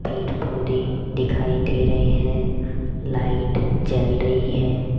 पेड़ पौधे दिखाई दे रहे हैं लाइट जल रही है।